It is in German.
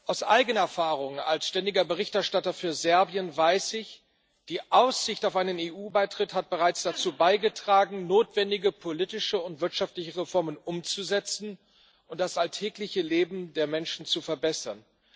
Aus eigener Erfahrung als ständiger Berichterstatter für Serbien weiß ich, die Aussicht auf einen EU Beitritt hat bereits dazu beigetragen, notwendige politische und wirtschaftliche Reformen umzusetzen und das alltägliche Leben der Menschen zu verbessern.